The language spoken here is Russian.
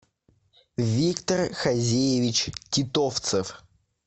виктор хазиевич титовцев